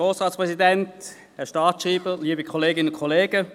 Kommissionssprecher der FiKo.